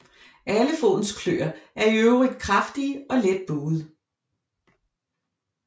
Alle fodens kløer er i øvrigt kraftige og let buede